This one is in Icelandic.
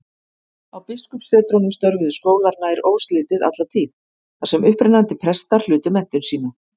Á biskupssetrunum störfuðu skólar nær óslitið alla tíð, þar sem upprennandi prestar hlutu menntun sína.